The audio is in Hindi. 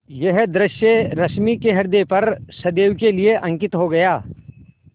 यह दृश्य रश्मि के ह्रदय पर सदैव के लिए अंकित हो गया